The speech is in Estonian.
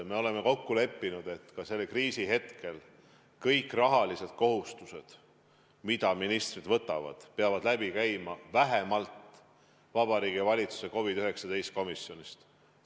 Me oleme kokku leppinud, et ka selle kriisi ajal kõik rahalised kohustused, mida ministrid võtavad, peavad läbi käima vähemalt Vabariigi Valitsuse COVID-19 komisjonist.